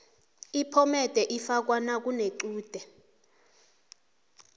iphomede ifakwa nakunechude